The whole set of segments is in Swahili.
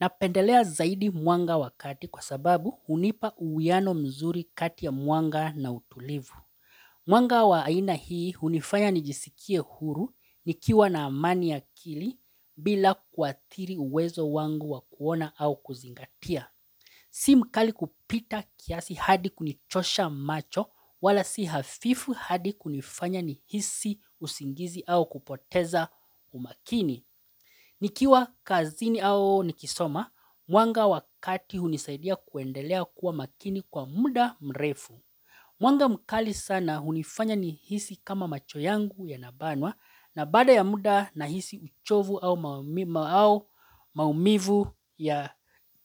Napendelea zaidi mwanga wa kati kwa sababu hunipa uwiano mzuri kati ya mwanga na utulivu. Mwanga wa aina hii hunifanya nijisikie huru nikiwa na amani ya akili bila kuathiri uwezo wangu wa kuona au kuzingatia. Si mkali kupita kiasi hadi kunichosha macho wala si hafifu hadi kunifanya nihisi usingizi au kupoteza umakini. Nikiwa kazini au nikisoma, mwanga wakati hunisaidia kuendelea kuwa makini kwa muda mrefu. Mwanga mkali sana hunifanya nihisi kama macho yangu yanabanwa na baada ya muda nahisi uchovu au maumivu ya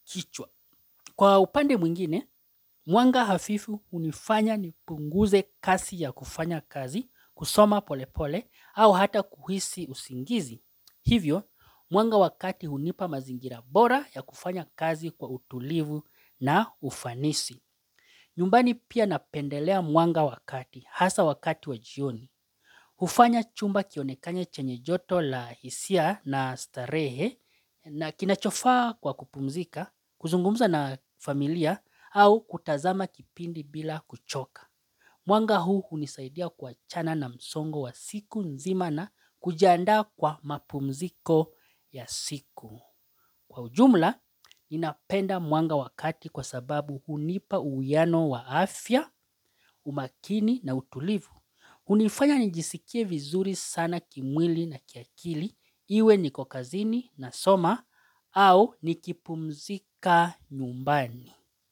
kichwa. Kwa upande mwingine, mwanga hafifu hunifanya nipunguze kasi ya kufanya kazi, kusoma pole pole, au hata kuhisi usingizi. Hivyo, mwanga wa kati hunipa mazingira bora ya kufanya kazi kwa utulivu na ufanisi. Nyumbani pia napendelea mwanga wa kati, hasa wakati wa jioni. Hufanya chumba kionekane chenye joto la hisia na starehe na kinachofaa kwa kupumzika, kuzungumza na familia au kutazama kipindi bila kuchoka. Mwanga huu hunisaidia kuachana na msongo wa siku nzima na kujiandaa kwa mapumziko ya siku. Kwa ujumla, napenda mwanga wa kati kwa sababu hunipa uwiano wa afya, umakini na utulivu. Hunifanya nijisikie vizuri sana kimwili na kiakili, iwe niko kazini nasoma au nikipumzika nyumbani.